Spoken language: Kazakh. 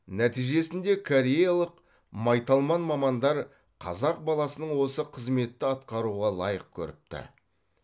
нәтижесінде кореялық майталман мамандар қазақ баласының осы қызметті атқаруға лайық көріпті